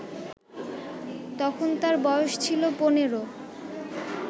তখন তার বয়স ছিল ১৫